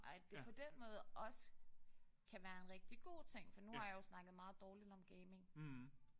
Og at det på den måde også kan være en rigtig god ting for nu har jeg jo snakket meget dårligt om gaming